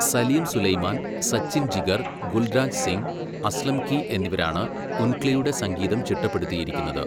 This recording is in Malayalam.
സലീം സുലൈമാൻ, സച്ചിൻ ജിഗർ, ഗുൽരാജ് സിംഗ്, അസ്ലം കീ എന്നിവരാണ് ഉൻഗ്ലിയുടെ സംഗീതം ചിട്ടപ്പെടുത്തിയിരിക്കുന്നത്.